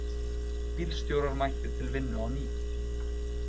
Bílstjórar mættir til vinnu á ný